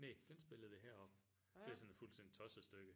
Næ den spillede vi heroppe det er sådan et fuldstændig tosset stykke